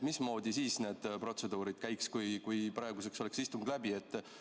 Mismoodi siis need protseduurid käiks, kui praeguseks oleks istung läbi?